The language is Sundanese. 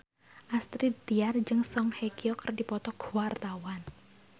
Astrid Tiar jeung Song Hye Kyo keur dipoto ku wartawan